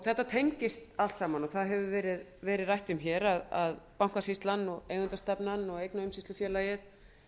þetta tengist allt saman og það hefur verið rætt hér að bankasýslan eigendastefnan og eignaumsýslufélagið